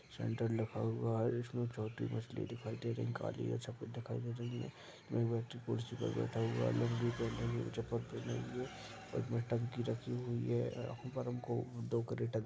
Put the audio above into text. centre लिखा हुआ है इसमें छोटी मछली दिखाई दे रही है काली या सफ़ेद दिखाई दे रही है वो व्यक्ति कुर्सी पर बैठा हुआ है लुंगी पहनें हुए चप्पल पहने हुए ऊपर में टंकी रखी हुई है ऊपर हमको दो कैरेटा --